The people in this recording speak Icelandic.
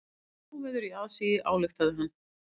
Óveður í aðsigi, ályktaði hann.